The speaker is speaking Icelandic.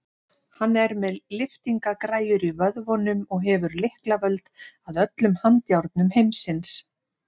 Hann er með lyftingagræjur í vöðvunum og hefur lyklavöld að öllum handjárnum heimsins.